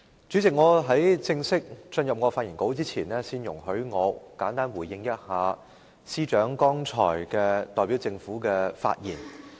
主席，在我正式進入我的發言稿之前，先容許我簡單回應政務司司長剛才代表政府的發言。